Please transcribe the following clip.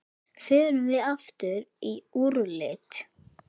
Förum við aftur í úrslit?